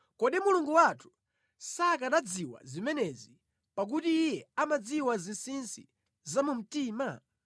kodi Mulungu wathu sakanazidziwa zimenezi, pakuti Iye amadziwa zinsinsi zamumtima?